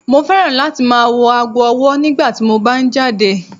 Mo fẹ́ràn láti máa wò aago ọwọ́ nígbà tí mo bá ń jáde.